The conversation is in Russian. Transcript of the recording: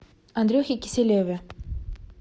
андрюхе киселеве